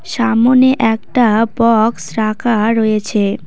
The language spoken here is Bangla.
সামোনে একটা বক্স রাখা রয়েছে।